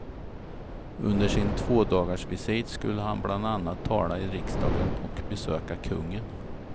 Under sin tvådagarsvisit skulle han bland annat tala i riksdagen och besöka kungen.